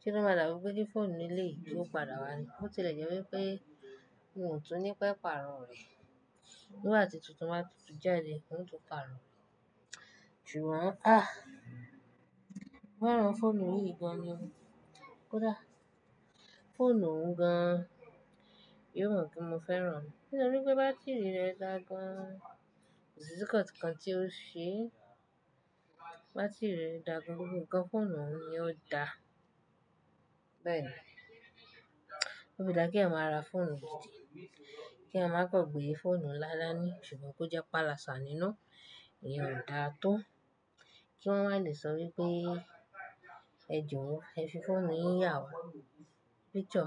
kí wọ́n padà mọ wípé bí fóònù ilé yìí tó padà wá ni. Ó tilẹ̀ jẹ́ wípé n ò tún ní pẹ́ pàrọ̀ rẹ̀. Nígbà tí tuntun máa tutù jáde, n ò tún pàrọ̀. Jù wá, a! Mo fẹ́ràn fóònù yìí gan ni o. Kódà fóònù gan, yóò mọ̀ pé mo fẹ́ràn. Nítorí pé bátìrì rẹ̀ dáa gan. Kò sí nkan kan tí ó ṣe. Bátìrì rẹ̀ dáa gan. Ohun kan fóònù òun ni ó da. Bẹ́ẹ̀ni. Ó fi dáa kí èèyàn máa ra fóònù gidi. Kí èèyàn máa gbàgbé fóònù ńlá dá ní ṣùgbọ́n kó jẹ́ palasa nínú. Ẹ̀yin ò dáa tó. Kí wọ́n wá lè sọ wípé, ẹ dìwọ́, ẹ fi fóònù yín yà wá. Picture.